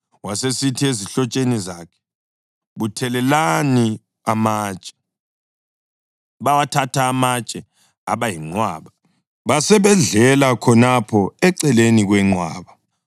Wasesithi ezihlotsheni zakhe, “Buthelelani amatshe.” Bawathatha amatshe aba yinqwaba, basebedlela khonapho eceleni kwenqwaba.